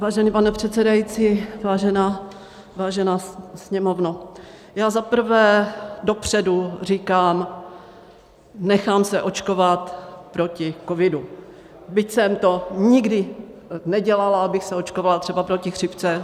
Vážený pane předsedající, vážená Sněmovno, já za prvé dopředu říkám, nechám se očkovat proti covidu, byť jsem to nikdy nedělala, abych se očkovala třeba proti chřipce.